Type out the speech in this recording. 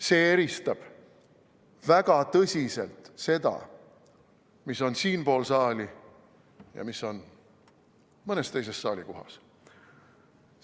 See eristab väga tõsiselt seda, mis on siinpool saali ja mis on mõnes teises saali kohas.